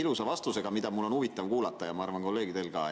ilusa vastusega, mida mul on huvitav kuulata ja ma arvan, et kolleegidel ka.